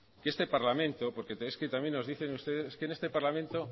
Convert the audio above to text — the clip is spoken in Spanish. que este parlamento porque es que también nos dicen ustedes es que en este parlamento